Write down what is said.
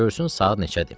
Görsün saat neçədir.